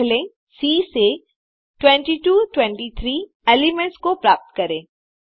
पहले सी से 22 23 एलिमेंट्स को प्राप्त करें